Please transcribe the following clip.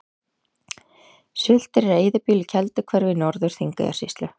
Sultir er eyðibýli í Kelduhverfi í Norður-Þingeyjarsýslu.